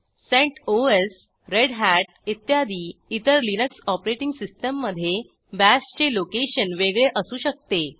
CentOS Red Hat इत्यादी इतर Linux operating सिस्टीममधे बाश चे लोकेशन वेगळे असू शकते